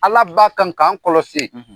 Ala b'a kan k'an kɔlɔsi.